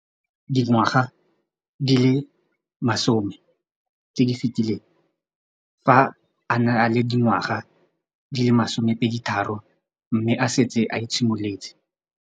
Dingwaga di le 10 tse di fetileng, fa a ne a le dingwaga di le 23 mme a setse a itshimoletse.